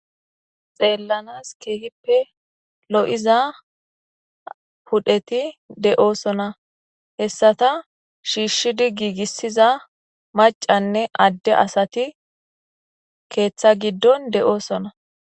xeellanas keehippe lo'iza pudheti de'oosona hessata shiishshidi giigissiza macanne adde asati keeththa giddon de'oosona